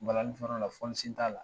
Balanin fɔ yɔrɔ la fɔliszen t'a la.